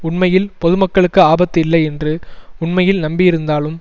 உண்மையில் பொது மக்களுக்கு ஆபத்து இல்லை என்று உண்மையில் நம்பியிருந்தாலும்